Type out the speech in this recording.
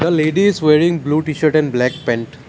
ladies wearing blue T shirt and black pant.